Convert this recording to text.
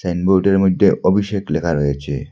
সাইনবোর্ডের মধ্যে অভিষেক লেখা রয়েছে।